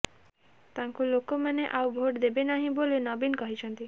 ତାଙ୍କୁ ଲୋକମାନେ ଆଉ ଭୋଟ ଦେବେ ନାହିଁ ବୋଲି ନବୀନ କହିଛନ୍ତି